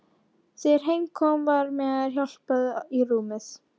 Þegar heim kom var mér hjálpað í rúmið.